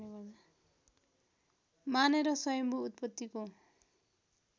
मानेर स्वयम्भू उत्पत्तिको